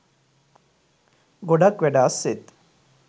ගොඩක් වැඩ අස්සෙත්